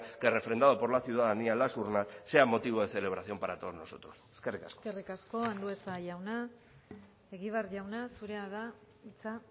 que refrendado por la ciudadanía en la urnas sea motivo de celebración para todos nosotros eskerrik asko eskerrik asko andueza jauna egibar jauna zurea da hitza